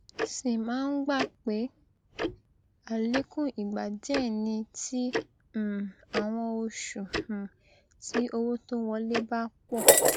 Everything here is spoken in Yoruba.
sì máa ń gbà pé àlékún ìgbà díẹ ni ti um àwọn oṣù um tí owó tó wọlé bá pọ